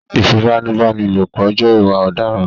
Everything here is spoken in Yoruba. ìfipábánilòpọ̀ jẹ́ ìwà òdaràn